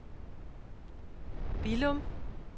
Billum